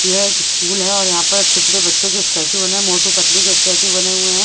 ये एक स्कूल है और यहाँ पर छोटे छोटे बच्चों के स्टैचू बने हैं मोटू पतलू के स्टैचू बने हुए हैं।